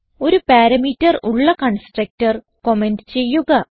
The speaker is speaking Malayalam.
ഒരു പാരാമീറ്റർ ഉള്ള കൺസ്ട്രക്ടർ കമന്റ് ചെയ്യുക